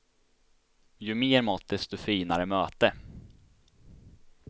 Ju mer mat, desto finare möte.